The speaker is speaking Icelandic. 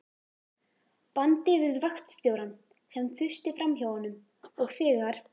bandi við vaktstjórann, sem þusti framhjá honum, og þegar